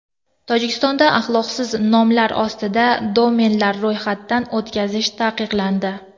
Tojikistonda axloqsiz nomlar ostida domenlar ro‘yxatdan o‘tkazish taqiqlandi.